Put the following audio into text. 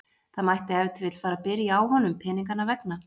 Það mætti ef til vill fara að byrja á honum peninganna vegna.